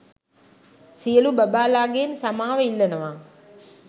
සියලු බබාලා ගෙන් සමාව ඉල්ලනවා